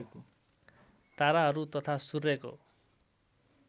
ताराहरू तथा सूर्यको